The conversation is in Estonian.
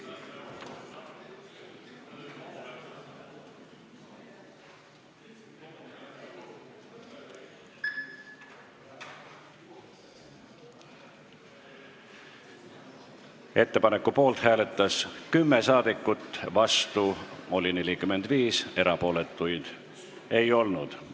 Hääletustulemused Ettepaneku poolt hääletas 10 saadikut, vastu oli 45, erapooletuid ei olnud.